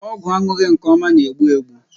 Ọgwụ aṅụghị nke ọma na-egbu egbu.